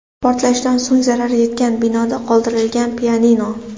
Portlashdan so‘ng zarar yetgan binoda qoldirilgan pianino.